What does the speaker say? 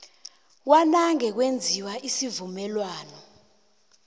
kwanange kwenziwa isivumelwano